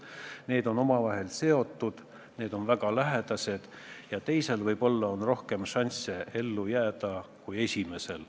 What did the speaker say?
Need on omavahel seotud, need on väga lähedased ja teisel on võib-olla rohkem šansse ellu jääda kui esimesel.